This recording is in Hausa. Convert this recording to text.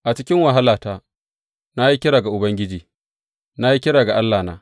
A cikin wahalata na yi kira ga Ubangiji; na yi kira ga Allahna.